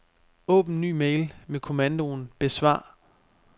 Åbn ny mail med kommandoen besvar.